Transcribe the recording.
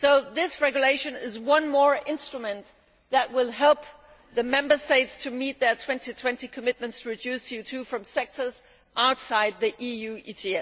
This regulation is one more instrument that will help the Member States to meet their 2020 commitments to reduce CO 2 from sectors outside the EU ETS.